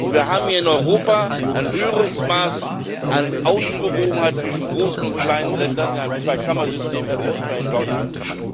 Wir haben hier in Europa ein höheres Maß an Ausgewogenheit zwischen großen und kleinen Ländern in einem Zwei Kammern System als etwa in Deutschland.